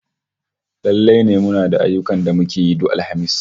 Lallai ne muna da ayyukan da muke yi duk Alhamis